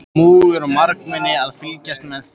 Múgur og margmenni að fylgjast með þeim.